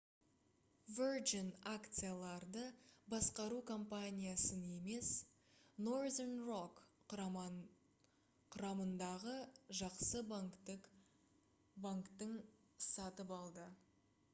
virgin акцияларды басқару компаниясын емес northern rock құрамындағы «жақсы банктің» сатып алды